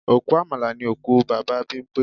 Òkú Àmàlà ni òkú Bàbá Bímpé